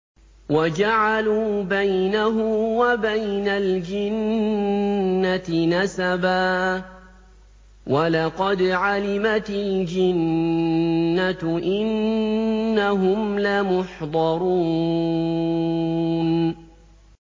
وَجَعَلُوا بَيْنَهُ وَبَيْنَ الْجِنَّةِ نَسَبًا ۚ وَلَقَدْ عَلِمَتِ الْجِنَّةُ إِنَّهُمْ لَمُحْضَرُونَ